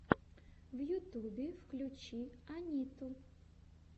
в ютюбе включи анитту